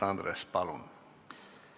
Andres, palun!